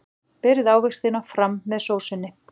Berið ávextina fram með sósunni.